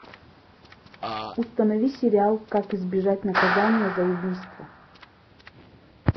установи сериал как избежать наказания за убийство